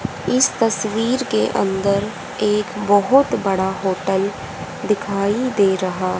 इस तस्वीर के अंदर एक बहुत बड़ा होटल दिखाई दे रहा--